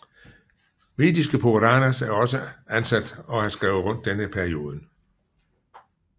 Vediske Puranas er også antatt å ha skrevet rundt denne perioden